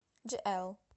джиэл